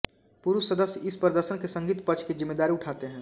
पुरुष सदस्य इस प्रदर्शन के संगीत पक्ष की ज़िम्मेदारी उठाते हैं